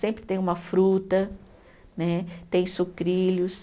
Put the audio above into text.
Sempre tem uma fruta né, tem sucrilhos.